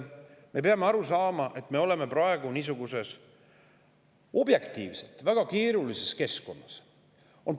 Me peame aru saama, et me oleme praegu objektiivselt väga keerulises keskkonnas.